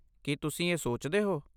ਕੀ ਤੁਸੀਂ ਇਹ ਸੋਚਦੇ ਹੋ?